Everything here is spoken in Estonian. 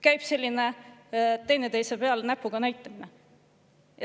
Käib selline teineteise peale näpuga näitamine.